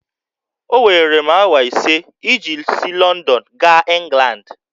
Owere m awa ise iji si Lọndọn gaa Ịngland